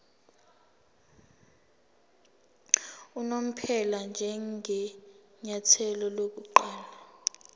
unomphela njengenyathelo lokuqala